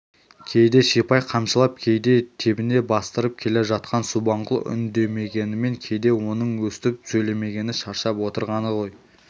кейде сипай қамшылап кейде тебіне бастыртып келе жатқан субанқұл үндемегенімен кейде оның өстіп сөйлемегені де шаршап отырғаны ғой